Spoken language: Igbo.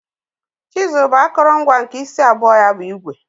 Chizul bu akọrọngwa nke isi abụọ ya bu igwe.